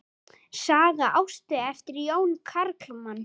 Saga Ástu eftir Jón Kalman.